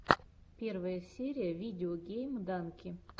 первая серия видео гейм данки